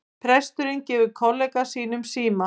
Presturinn gefur kollega sínum síma